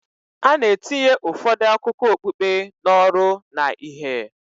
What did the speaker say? A na-etinye ụfọdụ akụkọ okpukpe n'ọrụ na ìhè